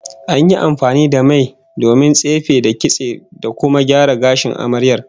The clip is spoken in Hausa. An yi amfani da mai domin tsife, da kitse, da kuma gyara gashin amaryar